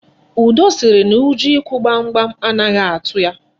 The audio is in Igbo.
Udo sịrị na ụjọ ịkụ gbamgbam anaghị atụ ya.